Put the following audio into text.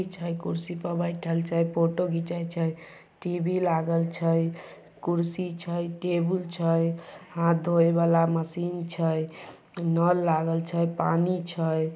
कुर्सी पर बैठल छेफोटो घिन्चै छे टीवी लागल छे कुर्सी छे टेबुल छे हाथ धोये वला मशीन छे नल लागल छेपानी छे।